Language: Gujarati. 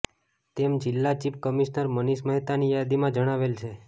તેમ જીલ્લા ચીફ કમિશનર મનિષ મહેતાની યાદીમાં જણાવેલ છે